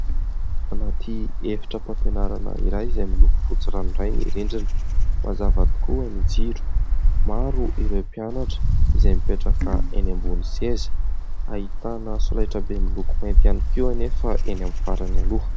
Anaty efitra fampianarana iray izay miloko fotsy ranoray ny rindrina. Mazava tokoa ny jiro maro, ireo mpianatra izay mipetraka eny ambony seza ; ahitana solaitra be miloko mainty ihany koa anefa eny amin'ny farany aloha.